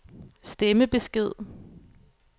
stemmebesked